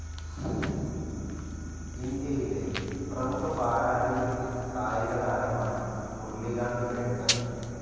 ഇന്ത്യയിലെ പ്രമുഖ പാരാലിമ്പിക് കായിക താരമാണ് മുർളികാന്ത് പേട്കർ.